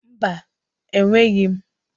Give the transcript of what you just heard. Mba, enweghị m.